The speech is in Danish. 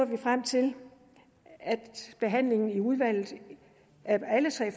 vi frem til at behandlingen i udvalget af alle tre